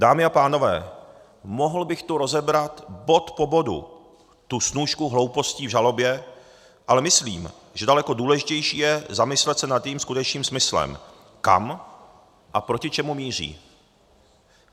Dámy a pánové, mohl bych tu rozebrat bod po bodu tu snůšku hloupostí v žalobě, ale myslím, že daleko důležitější je zamyslet se nad jejím skutečným smyslem, kam a proti čemu míří.